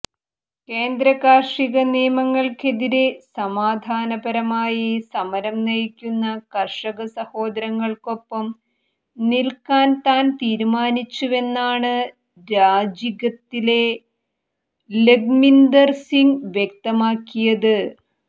കേന്ദ്ര കാർഷിക നിയമങ്ങൾക്കെതിരെ സമാധാനപരമായി സമരം നയിക്കുന്ന കർഷക സഹേദരങ്ങൾക്കൊപ്പം നിൽക്കാൻ താൻ തീരുമാനിച്ചുവെന്നാണ് രാജികത്തിൽ ലഖ്മീന്ദർ സിങ് വ്യക്തമാക്കിയത്